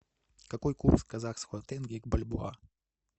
какой курс казахского тенге к бальбоа